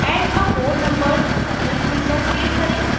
add a four membered cycle tool पर click करें